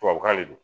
Tubabukan de don